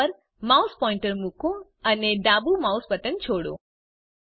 menu પર mouse pointer મૂકો અને ડાબું માઉસ બટન છોડો